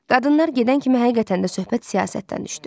Qadınlar gedən kimi həqiqətən də söhbət siyasətdən düşdü.